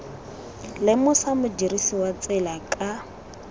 lemosa modirisi wa tsela ka